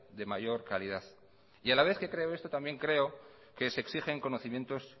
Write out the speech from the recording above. de mayor calidad y a la vez que creo esto también creo que se exigen conocimientos